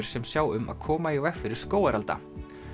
sem sjá um að koma í veg fyrir skógarelda